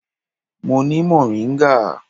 Mo ni moringa.